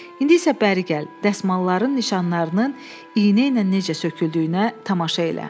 İndi isə bəri gəl, dəsmalların nişanlarının iynə ilə necə söküldüyünə tamaşa elə.